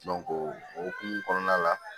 o hokumu kɔnɔna la